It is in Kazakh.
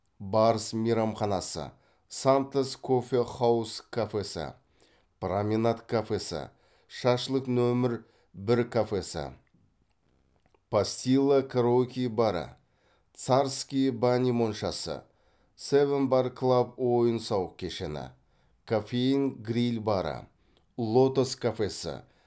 барс мейрамханасы сантос кофе хаус кафесі променад кафесі шашлық нөмір бір кафесі пастила караоке бары царские бани моншасы сэвн бар клаб ойын сауық кешені коффеин гриль бары лотос кафесі